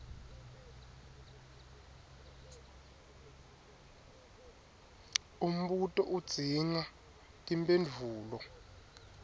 umbuto udzinga timphendvulo